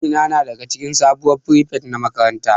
Amina da daga cikin sabuwar firifet na makaranta.